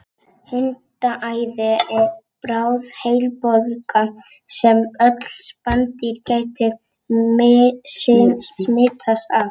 Hundaæði er bráð heilabólga sem öll spendýr geta smitast af.